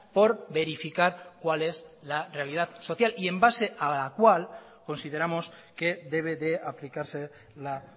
por verificar cuál es la realidad social y en base a la cual consideramos que debe de aplicarse la